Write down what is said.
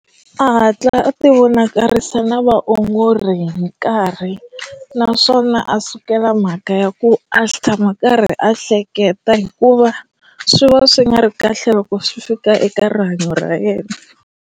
A hatla a ti vonakarisa na vaongori hi nkarhi naswona a sukela mhaka ya ku a xi tshama a karhi a hleketa hikuva swi va swi nga ri kahle loko swi fika eka rihanyo ra yena.